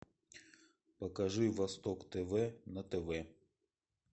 покажи восток тв на тв